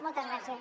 moltes gràcies